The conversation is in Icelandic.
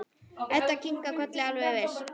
Edda kinkar kolli, alveg viss.